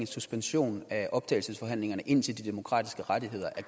suspension af forhandlingerne indtil de demokratiske rettigheder er